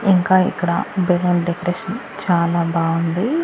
ఇంకా ఇక్కడ balloon decoration చాలా బాగుంది.